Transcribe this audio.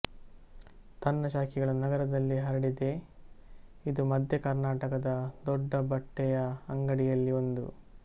ತನ್ನ ಶಾಖೆಗಳನ್ನು ನಗರದಲ್ಲಿ ಹರಡಿದೆ ಇದು ಮಧ್ಯ ಕರ್ನಾಟಕದ ದೊಡ್ಡ ಬಟ್ಟೆಯ ಅಂಗಡಿಯಲ್ಲಿ ಒಂದು